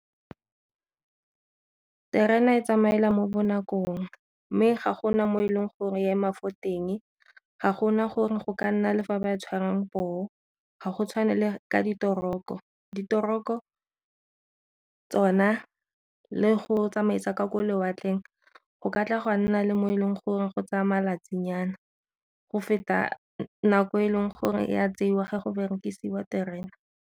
Terena e tsamaela mo bo nakong mme ga gona mo e leng gore e ema fo teng ga gona gore go ka nna le fa ba tshwarang poo ga go tshwane le ka ditoroko, ditoroko tsona le go tsamaisa ka gore lewatleng go ka tla gwa nna le mo e leng gore go tsaya malatsi nyana go feta nako e leng gore ya tseiwa ge go berekisiwa terena.